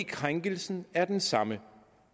krænkelsen er den samme